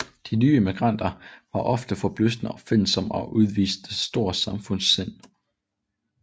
De nye immigranter var ofte forbløffende opfindsomme og udviste stort samfundssind